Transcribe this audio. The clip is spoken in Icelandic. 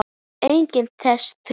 og einnig þessi þrjú